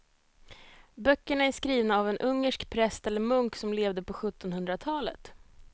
Böckerna är skrivna av en ungersk präst eller munk som levde på sjuttonhundratalet.